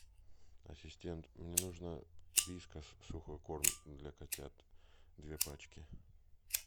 ассистент мне нужно вискас сухой корм для котят две пачки